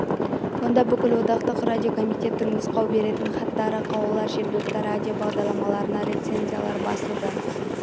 онда бүкілодақтық радиокомитетінің нұсқау беретін хаттары қаулылар жергілікті радио бағдарламаларына рецензиялар басылды